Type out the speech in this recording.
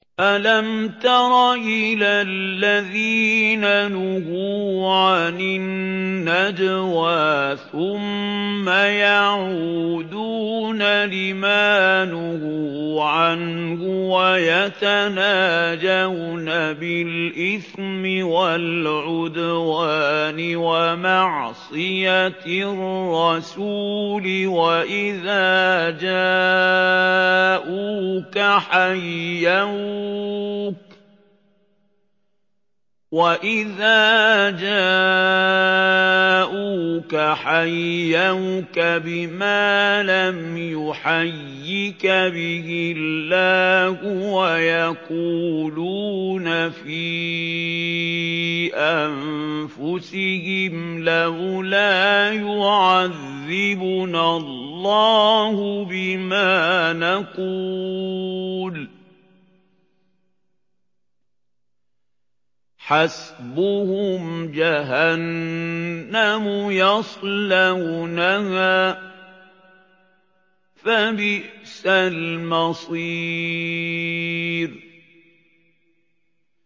أَلَمْ تَرَ إِلَى الَّذِينَ نُهُوا عَنِ النَّجْوَىٰ ثُمَّ يَعُودُونَ لِمَا نُهُوا عَنْهُ وَيَتَنَاجَوْنَ بِالْإِثْمِ وَالْعُدْوَانِ وَمَعْصِيَتِ الرَّسُولِ وَإِذَا جَاءُوكَ حَيَّوْكَ بِمَا لَمْ يُحَيِّكَ بِهِ اللَّهُ وَيَقُولُونَ فِي أَنفُسِهِمْ لَوْلَا يُعَذِّبُنَا اللَّهُ بِمَا نَقُولُ ۚ حَسْبُهُمْ جَهَنَّمُ يَصْلَوْنَهَا ۖ فَبِئْسَ الْمَصِيرُ